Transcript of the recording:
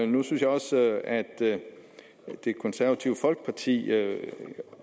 nu synes jeg også at det konservative folkeparti